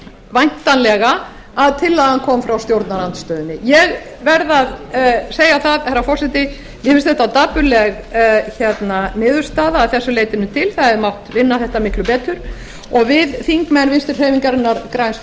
væntanlega að tillagan kom frá stjórnarandstöðunni ég verð að segja það herra forseti mér finnst þetta dapurleg niðurstaða að þessu leytinu til það hefði mátt vinna þetta miklu betur og við þingmenn vinstri hreyfingarinnar á græns